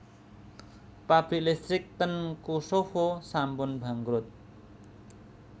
Pabrik listrik ten Kosovo sampun bangkrut